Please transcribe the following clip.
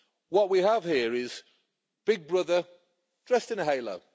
What we have here is Big Brother, dressed in a halo.